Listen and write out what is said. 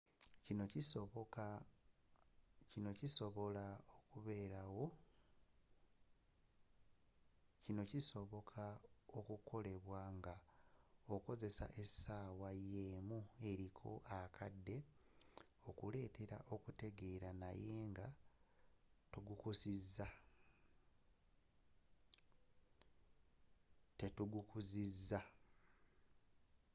kino kisobola okukolebwa nga okozesa essaawa y'emu eriko akade okuletera okutegera naye nga tegukuzukusiza